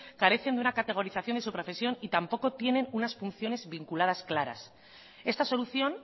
carecen de una categorización de su profesión y tampoco tienen unas funciones vinculadas claras esta solución